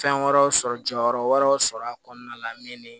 Fɛn wɛrɛw sɔrɔ jɔyɔrɔ wɛrɛw sɔrɔ a kɔnɔna la min ni